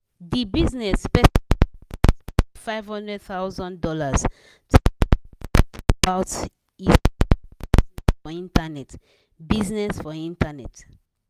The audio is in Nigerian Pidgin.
di bizness person use sense put five hundred thousand dollars to informate people about e small bizness for internet. bizness for internet.